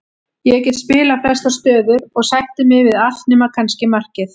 Ég get spilað flestar stöður og sætti mig við allt nema kannski markið.